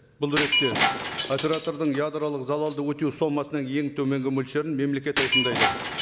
бұл ретте оператордың ядролық залалды өтеу сомасының ең төменгі мөлшерін мемлекет айқындайды